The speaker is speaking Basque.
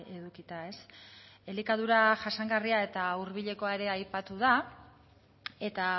edukita elikadura jasangarria eta hurbilekoa ere aipatu da eta